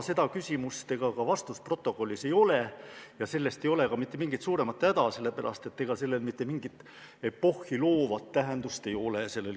Seda küsimust ega ka vastust protokollis ei ole, aga sellest ei ole ka mitte mingit suuremat häda, sellepärast et ei sellel küsimusel ega ka vastusel mingit epohhi loovat tähendust ei ole.